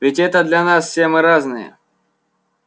ведь это для нас все мы разные